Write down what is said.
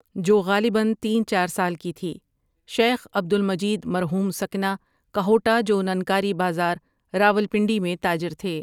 جو غالباً تین چار سال کی تھی شیخ عبد المجید مرحوم سکنہ کہوٹہ جو ننکاری بازار راولپنڈی میں تاجر تھے۔